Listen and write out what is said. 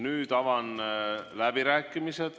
Nüüd avan läbirääkimised.